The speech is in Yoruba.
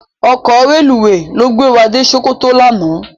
Òkò rélúwé ló gbé wá dé Sokoto làná